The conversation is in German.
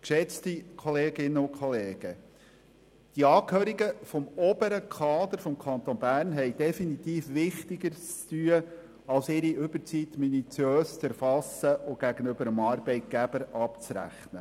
Geschätzte Kolleginnen und Kollegen, die Angehörigen des oberen Kaders des Kantons Bern haben definitiv Wichtigeres zu tun, als ihre Überzeit minutiös zu erfassen und gegenüber ihrem Arbeitgeber abzurechnen.